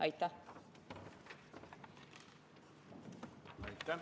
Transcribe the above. Aitäh!